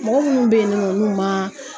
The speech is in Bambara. Mɔgɔ munnu bɛ yen ni nɔ n'u man